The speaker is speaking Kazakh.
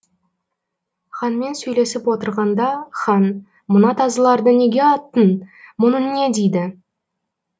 ханмен сөйлесіп отырғанда хан мына тазыларды неге аттың мұның не дейді